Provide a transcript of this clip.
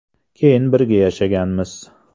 Keyin birga yashaganmiz.